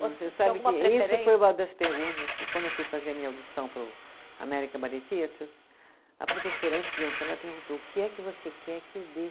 Você sabe que isso foi uma das perguntas que, quando eu fui fazer a minha audição para o American Ballet Theatre, a professora, antes de entrar, ela perguntou, o que é que você quer que eu dê?